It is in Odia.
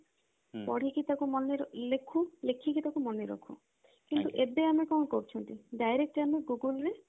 ପଢିକି ତାକୁ ଲେଖୁ ଲେଖିକି ତାକୁ ମନେ ରଖୁ କିନ୍ତୁ ଏବେ ଆମେ କଣ କରୁଛନ୍ତି direct ଆମେ google ରେ